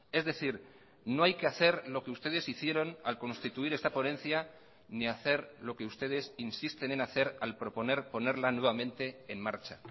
es decir no hay que hacer lo que ustedes hicieron al constituir esta ponencia ni hacer lo que ustedes insisten en hacer al proponer ponerla nuevamente en marcha